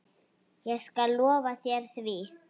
Ég skal lofa þér því.